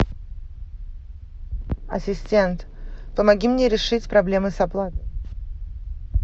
ассистент помоги мне решить проблемы с оплатой